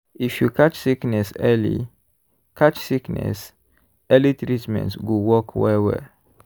if you catch sickness early catch sickness early treatment go work well-well.